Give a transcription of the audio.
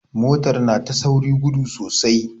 Motar na ta saurin gudu sosai.